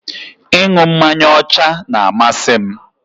Ị ṅu mmanya ọcha n'amasị m